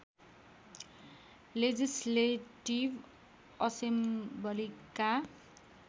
legislative असेम्बलीका